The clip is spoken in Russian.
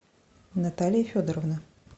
наталья федоровна